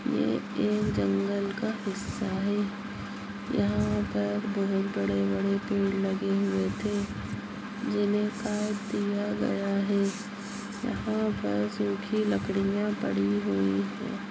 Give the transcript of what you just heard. ये एक जंगल का हिस्सा है यहाँ पर बोहत बड़े -बड़े पेड़ लगे हुए थे जिन्हे काट दिया गया है यहाँ पर सुखी लकड़ियाँ पड़ी हुई हैं।